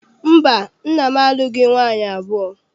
Mba, nna m alụghị nwaanyị abụọ.